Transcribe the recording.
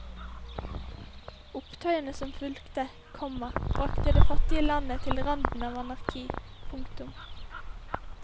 Opptøyene som fulgte, komma bragte det fattige landet til randen av anarki. punktum